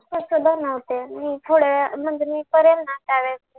कसं बनवते मी थोड्या वेळाने म्हणजे मी करेल ना त्यावेळेस